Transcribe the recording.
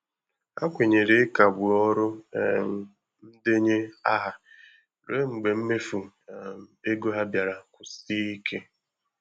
Ha kwenyere ịkagbu ọrụ um ndenye aha ruo mgbe mmefu um ego ha bịara kwụsie ike.